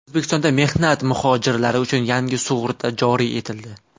O‘zbekistonda mehnat muhojirlari uchun yangi sug‘urta joriy etildi.